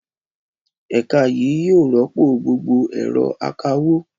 Ẹ̀ka yìí yóò rọ́pò gbogbo ẹ̀rọ akawó.